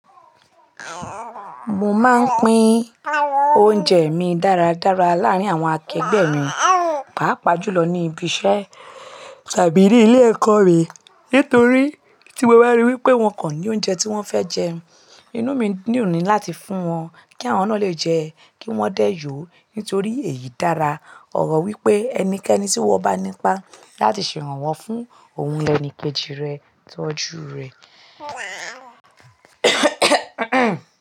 Mo máa ń pín oúnjẹ mi dáradára láàárín àwọn akẹgbẹ́ mi, pàápàá jùlọ ní ibi iṣẹ́ tàbí ní ilé ẹ̀kọ́ mi. Nítorí tí mo ri wípé wọn kò ní oúnjẹ tí wón fẹ́ jẹ, inú mi ní dun ni láti fún wọn kí àwọn náà le jẹ́, kí wón dẹ́ yòó. Nítorí èyí dára. Ọ̀rọ̀ wípé ẹnikẹ́ni tí wọn bá nípa láti ṣe iran wọ́n fún ohun lẹni kéjì rẹ̀ tọ́jú rẹ̀.